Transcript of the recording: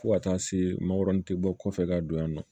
Fo ka taa se mankoro tɛ bɔ kɔfɛ ka don yan nɔ